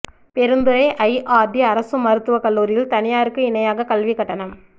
Perundurai IRT அரசு மருத்துவ கல்லூரியில் தனியாருக்கு இணையாக கல்வி கட்டணம்